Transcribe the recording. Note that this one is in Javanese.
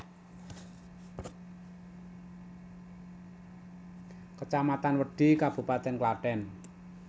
Kecamatan Wedhi Kabupaten Klaten